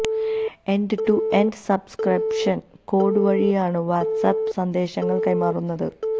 end to end subscription code വഴിയാണ് WhatsApp സന്ദേശങ്ങൾ കൈമാറുന്നത്